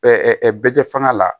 bɛ jɛ faŋa la